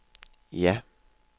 ja